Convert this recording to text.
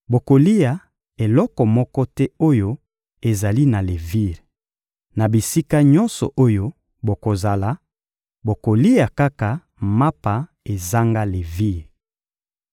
Bokolia eloko moko te oyo ezali na levire. Na bisika nyonso oyo bokozala, bokolia kaka mapa ezanga levire.»